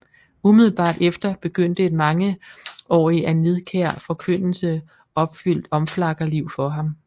Umiddelbart efter begyndte et mangeaarige af nidkær Forkyndelse opfyldt Omflakkerliv for ham